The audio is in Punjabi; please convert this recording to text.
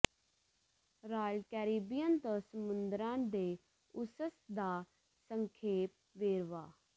ਰਾਇਲ ਕੈਰੀਬੀਅਨ ਤੋਂ ਸਮੁੰਦਰਾਂ ਦੇ ਓਸਿਸ ਦਾ ਸੰਖੇਪ ਵੇਰਵਾ